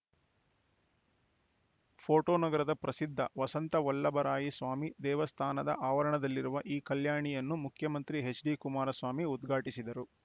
photo ನಗರದ ಪ್ರಸಿದ್ಧ ವಸಂತ ವಲ್ಲಭರಾಯಸ್ವಾಮಿ ದೇವಸ್ಥಾನ ಆವರಣದಲ್ಲಿರುವ ಈ ಕಲ್ಯಾಣಿಯನ್ನು ಮುಖ್ಯಮಂತ್ರಿ ಎಚ್‌ಡಿ ಕುಮಾರಸ್ವಾಮಿ ಉದ್ಘಾಟಿಸಿದರು